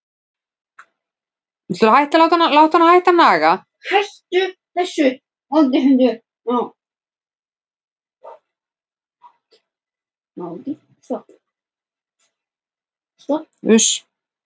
Þetta er nokkuð hærra hlutfall en þekkist ekki satt, Gunnar?